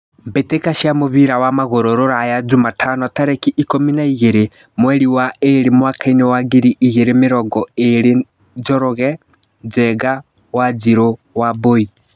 Mbĩtĩka cia mũbira wa magũrũ Ruraya Jumatano tarĩki ikũmi na igĩrĩ mweri wa ĩrĩ mwakainĩ wa ngiri igĩrĩ na mĩrongo ĩrĩ Njoroge, Njenga, Wanjiru, Wambui.